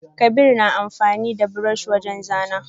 Kabir na amfani da buroshi wajen zana.